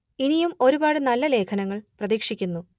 ഇനിയും ഒരുപാട് നല്ല ലേഖനങ്ങൾ പ്രതീക്ഷിക്കുന്നു